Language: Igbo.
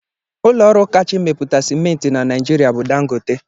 Ụlọọrụ kacha emepụta simenti na Naijiria bụ dangote